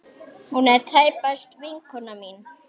Hún er tæpast vinkona mín.